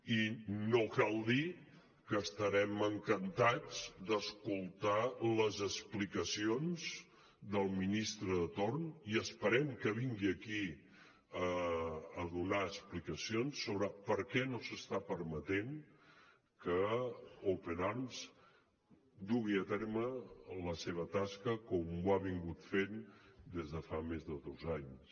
i no cal dir que estarem encantats d’escoltar les explicacions del ministre de torn i esperem que vingui aquí a donar explicacions sobre per què no s’està permetent que open arms dugui a terme la seva tasca com ho ha fet des de fa més de dos anys